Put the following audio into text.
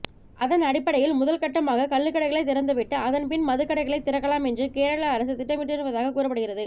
அதன் அடிப்படையில் முதல் கட்டமாக கள்ளுக்கடைகளைத் திறந்துவிட்டு அதன்பின் மதுக்கடைகளைத் திறக்கலாம் என்று கேரள அரசு திட்டமிட்டிருப்பதாக கூறப்படுகிறது